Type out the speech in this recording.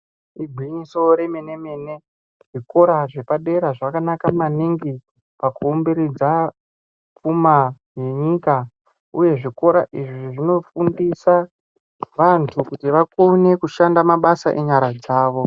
Igwinyiso remene mene zvikora zvepadera zvakanaka maningi pakuumbiridza pfuma yenyika uye zvikora izvi zvinofundisa vantu kuti vakone kushanda mabasa enyara dzawo.